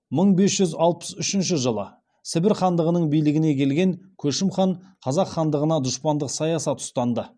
мың бес жүз алпыс үшінші жылы сібір хандығының билігіне келген көшім хан қазақ хандығына дұшпандық саясат ұстанды